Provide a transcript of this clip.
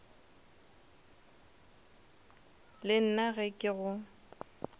le nna ge ke go